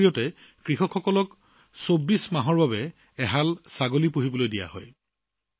ইয়াৰ জৰিয়তে কৃষকসকলক ২৪ মাহৰ বাবে দুটা ছাগলী দিয়া হয়